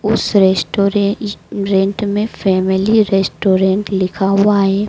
उस restaurant में family restaurant लिखा हुआ है।